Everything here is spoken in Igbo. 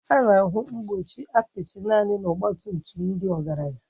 A na-ahụ mgbochi apịtị naanị na ọgba tum tum ndị ọgaranya